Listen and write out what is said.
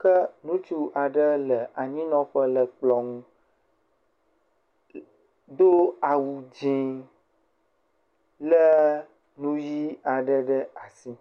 ke ŋutsu aɖe le anyinɔƒe le kplɔ nu do awu dzi. Le nu ʋi aɖe ɖe asi.